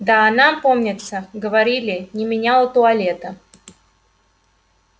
да она помнится говорили не меняла туалета